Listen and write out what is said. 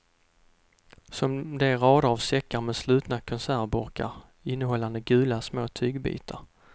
Som de raderna av säckar med slutna konservburkar innehållande gula små tygbitar.